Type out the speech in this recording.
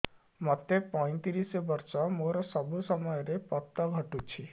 ମୋତେ ପଇଂତିରିଶ ବର୍ଷ ମୋର ସବୁ ସମୟରେ ପତ ଘଟୁଛି